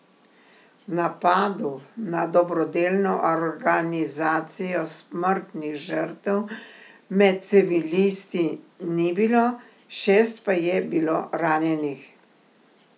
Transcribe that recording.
V napadu na dobrodelno organizacijo smrtnih žrtev med civilisti ni bilo, šest pa je bilo ranjenih.